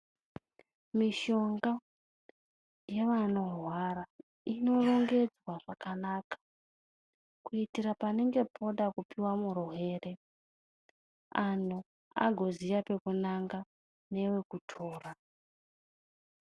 Mishonga, yevanorwara inorongedzwa pakanaka, kuitira panenge poda kupiwa murwere anhu agoziya pekunanga newekutora.